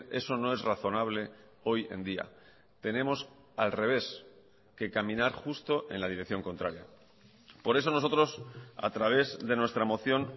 eso no es razonable hoy en día tenemos al revés que caminar justo en la dirección contraria por eso nosotros a través de nuestra moción